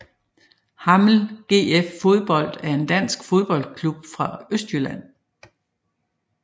Hammel GF Fodbold er en dansk fodboldklub fra Østjylland